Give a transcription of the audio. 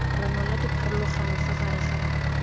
ranola dipharologano fa gare ga